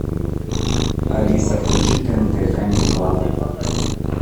алиса включи тнт камеди клаб